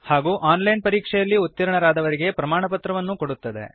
ಹಾಗೂ online ಪರೀಕ್ಷೆಯಲ್ಲಿ ಉತ್ತೀರ್ಣರಾದವರಿಗೆ ಪ್ರಮಾಣಪತ್ರವನ್ನು ಕೊಡುತ್ತದೆ